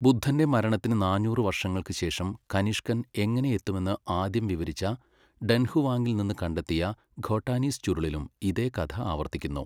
ബുദ്ധന്റെ മരണത്തിന് നാനൂറ് വർഷങ്ങൾക്ക് ശേഷം കനിഷ്കൻ എങ്ങനെ എത്തുമെന്ന് ആദ്യം വിവരിച്ച ഡൻഹുവാങ്ങിൽ നിന്ന് കണ്ടെത്തിയ ഖോട്ടാനീസ് ചുരുളിലും ഇതേ കഥ ആവർത്തിക്കുന്നു.